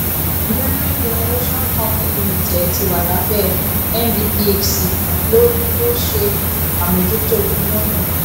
gbarain generation company limited tí wà lábẹ ndphc ló ló ṣe àmójútó iná ná